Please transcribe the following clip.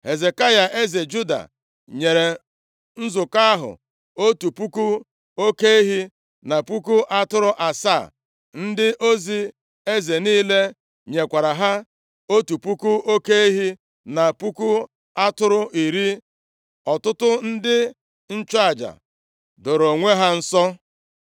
Hezekaya eze Juda, nyere nzukọ ahụ otu puku oke ehi, na puku atụrụ asaa. Ndị ozi eze niile nyekwara ha, otu puku oke ehi na puku atụrụ iri. Ọtụtụ ndị nchụaja dooro onwe ha nsọ.